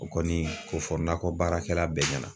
O kɔni k'o fɔ nakɔ baarakɛla bɛɛ ɲɛna.